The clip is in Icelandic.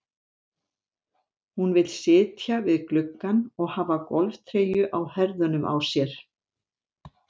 Hún vill sitja við gluggann og hafa golftreyju á herðunum á sér.